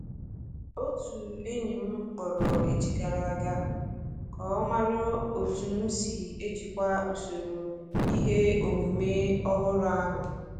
Otu enyi m kpọrọ echi gara a ga ka ọ mara otu m si n'ejikwa usoro ihe omume ọhụrụ ahụ.